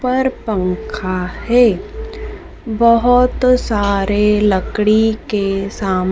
उपर पंखा है बहोत सारे लकड़ी के सामा--